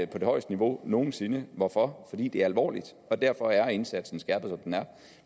på det højeste niveau nogen sinde hvorfor fordi det er alvorligt og derfor er indsatsen så skærpet som den er